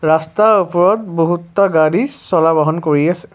ৰাস্তাৰ ওপৰত বহুতটা গাড়ী চলা বাহন কৰি আছে।